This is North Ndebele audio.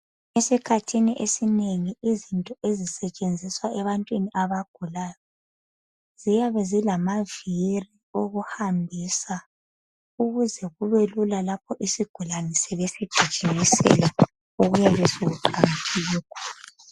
Esikhathini esinengi izinto ezisetshenziswa ebantwini abagulayo ziyabe zilavili okuhambisa ukuthi kube lula isigulane sebesijigimisela kuqakathekile lokho